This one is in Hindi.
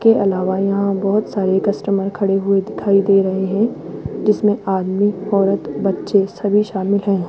के अलावा यहां बहोत सारे कस्टमर खड़े हुए दिखाई दे रहे हैं जिसमें आदमी औरत बच्चे सभी शामिल हैं।